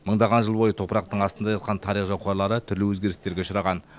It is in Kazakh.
мыңдаған жыл бойы топырақтың астында жатқан тарих қуалары түрлі өзгерістерге ұшыраған